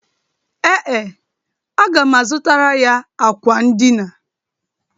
Ee, aga m azụtara ya akwa ndịna.